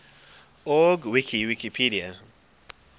org wiki wikipedia